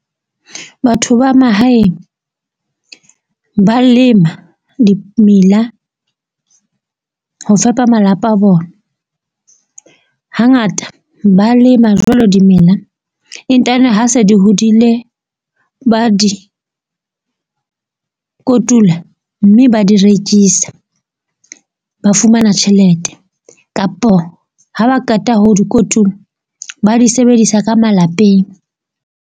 Batho ba mahaeng ba lema dimela ho fepa malapa a bona, hangata ba lema jwalo dimela, e ntane ha se di hodile. Ba di kotula mme ba di rekisa. Ba fumana tjhelete kapo ha ba keta ho di kotula, ba di sebedisa ka malapeng.